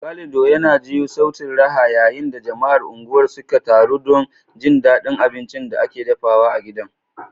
Calido, yana jiyo sautin raha yayin da jama'ar unguwar suka taru don jin daɗin abincin da ake dafawa a gidan.